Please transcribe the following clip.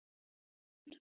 Vin